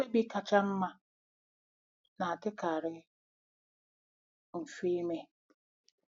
Mkpebi kacha mma na-adịkarị mfe ime.